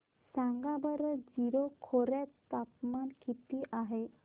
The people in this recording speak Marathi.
सांगा बरं जीरो खोर्यात तापमान किती आहे